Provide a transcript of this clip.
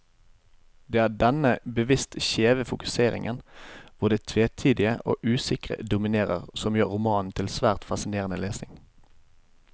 Det er denne bevisst skjeve fokuseringen, hvor det tvetydige og usikre dominerer, som gjør romanen til svært fascinerende lesning.